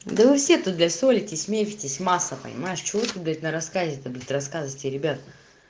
да вы все тут блять ссоритесь миритесь масса понимешь что вы тут блять на рассказе то блять на рассказываете ребят